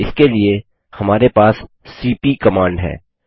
इसके लिए हमारे पास सीपी कमांड है